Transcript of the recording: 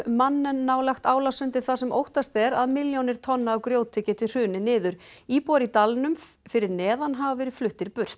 Mannen nálægt þar sem óttast er að milljónir tonna af grjóti geti hrunið niður íbúar í dalnum fyrir neðan hafa verið fluttir burt